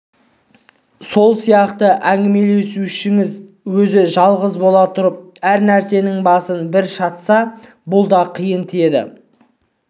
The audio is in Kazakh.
сол сияқты әңгімелесушіңіз өзі жалғыз бола тұрып әр нәрсенің басын бір шатса бұл да қиын тиеді